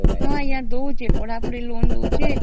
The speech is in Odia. ହଁ ଆଜ୍ଞା ଦେଉଛି ପଢାଇବା ପାଇଁ